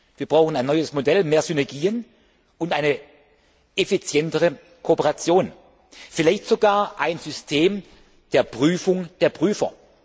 Wir brauchen ein neues Modell, mehr Synergien und eine effizientere Kooperation, vielleicht sogar ein System der Prüfung der Prüfer.